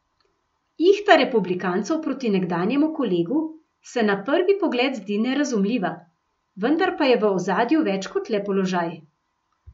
Ihta republikancev proti nekdanjemu kolegu se na prvi pogled zdi nerazumljiva, vendar pa je v ozadju več kot le položaj.